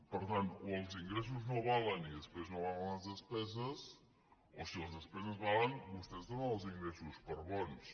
per tant o els ingressos no valen i després no valen les despeses o si les despeses valen vostès donen els ingressos per bons